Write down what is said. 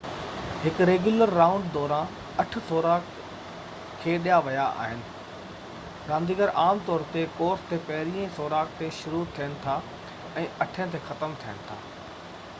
هڪ regular round دوران اٺ سوراخ کيڏيا ويا آهن رانديگر عام طور تي ڪورس تي پهريئن سوراخ تي شروع ٿين ٿا ۽ اٺين تي ختم ٿين ٿا